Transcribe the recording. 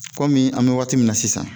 Komi an bɛ waati min na sisan